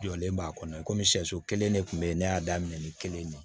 Jɔlen b'a kɔnɔ komi sɛ so kelen de tun bɛ yen ne y'a daminɛ ni kelen de ye